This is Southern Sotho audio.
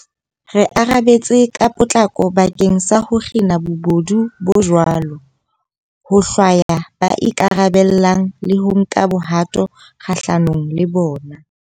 Re arabetse ka potlako bakeng sa ho kgina bobodu bo jwalo, ho hlwaya ba ikarabellang le ho nka bohato kgahlanong le bona.